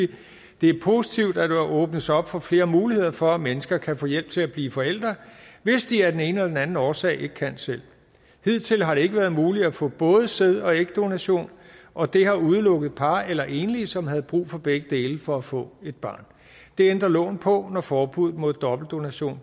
det er positivt at der åbnes op for flere muligheder for at mennesker kan få hjælp til at blive forældre hvis de af den ene eller den anden årsag ikke kan selv hidtil har det ikke være muligt at få både sæd og ægdonation og det har udelukket par eller enige som havde brug for begge dele for at få et barn det ændrer loven på når forbuddet mod dobbeltdonation